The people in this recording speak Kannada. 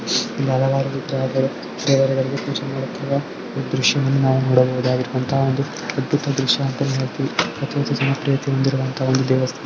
ಇಲ್ಲಿ ಹಲವಾರು ವಿಗ್ರಹಗಳು ದೇವರುಗಳಿಗೆ ಪೊಜೆ ಮಾಡುತ್ತಿರುವಾ ಈ ದೃಶ್ಯ ವನ್ನು ನೋಡಬಹುದಾಗಿರುವಂತಹ ಒಂದು ಅದ್ಬುತ ದೃಶ್ಯ ಅಂತಾನೆ ಹೇ ಳ್ತಿವಿ ಅತ್ಯಂತ ಜನಪ್ರಿಯತೆ ಹೊಂದಿರುವಂತಹ ದೇವಸ್ಥಾನ.